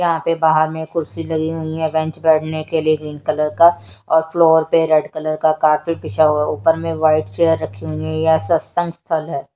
यहाँ पे बाहर में खुर्ची लगी हुयी है बेंच बैठने के लिए ग्रीन कलर का और फ्लोर पे रेड कलर का कारपेट बिछाया हुआ है ऊपर में व्हाइट चेयर रखी हुयी है ।